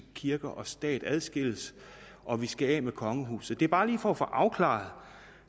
kirke og stat adskilles og vi skal af med kongehuset det er bare lige for at få afklaret